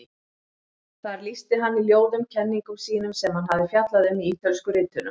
Þar lýsti hann í ljóðum kenningum sínum sem hann hafði fjallað um í Ítölsku ritunum.